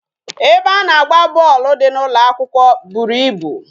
Ebe a na-agba bọọlụ dị n'ụlọ akwụkwọ bụrụ ịbụ